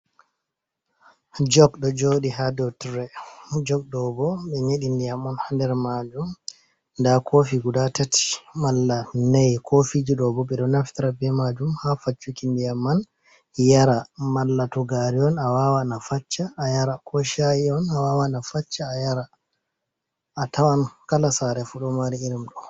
Jog ɗo joɗi ha dotire jog ɗoɓo ɓe nyeɗi ndiyam on ha nder majum nda kofi guda tati malla nei, kofi ji ɗobo ɓe ɗo nafitra be majum ha faccuki ndiyam man yara mala to gariy on a wawan a facca a yara, ko shayion a wawa a facca a yara a tawan kala sare fudo mari irim ɗo.